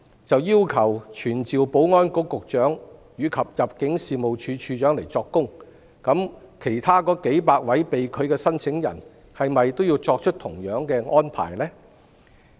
如要求傳召保安局局長及入境處處長作供，對其他數百位被拒的申請人，是否都要作出同樣的安排？